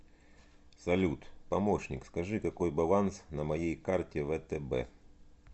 салют помощник скажи какой баланс на моей карте втб